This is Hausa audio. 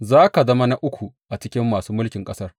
Za ka zama na uku a cikin masu mulkin ƙasar.